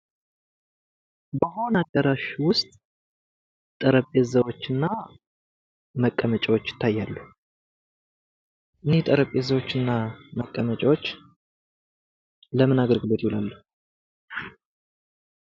በሆነ አዳራሽ ውስጥ ጠረጴዛዎች እና መቀመጫዎች ይታያሉ እኒህ ጠረጴዛዎች እና መቀመጫዎች ለምን አገልግሎት ይውላሉ?